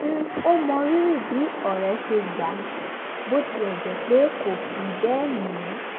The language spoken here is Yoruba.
ó mọrírì bí ọ̀rẹ́ rẹ̀ ṣe gbà á bó tilẹ̀ jẹ́ pé kò fi bẹ́ẹ̀ ní